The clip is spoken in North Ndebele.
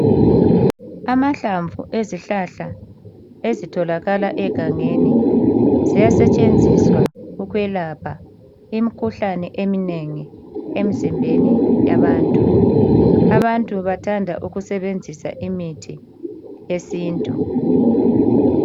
Amahlamvu ezihlahla ezitholakala egangeni ziyasetshenziswa ukwelapha imikhuhlane eminengi emizimbeni yabantu. Abantu abanengi bathanda ukusebenzisa imithi yesintu.